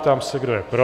Ptám se, kdo je pro?